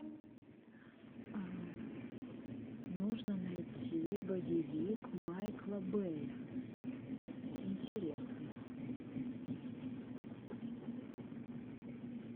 нужно найти боевик майкла бэя интересный